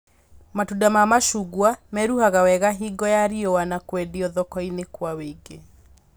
Matunda ma macungwa meruhaga wega hingo ya riũa na kwendio thoko-inĩ kũa wũingĩ